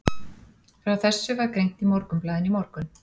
Frá þessu var greint í Morgunblaðinu í morgun.